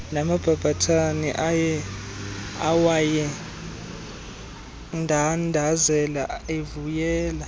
namabhabhathane awayendandazela evuyela